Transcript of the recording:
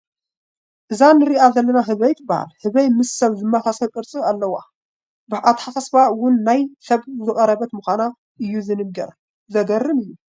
እዛ ንሪኣ ዘለና ህበይ ትበሃል፡፡ ህበይ ምስ ሰብ ዝመሳሰል ቅርፂ ዘለዋ እያ፡፡ ብኣተሓሳስባ እውን ናብ ሰብ ዝቐረበት ምዃና እዩ ዝንገር፡፡ ዘግርም እዩ፡፡